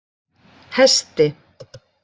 Hesti